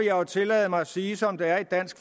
jo tillade mig at sige som det er i dansk